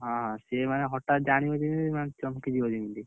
ହଁ ହଁ, ସେ ମାନେ ହଠାତ୍ ଜାଣିବ ଯେମିତି ମାନେ ଚମକି ଯିବ ଯେମିତି।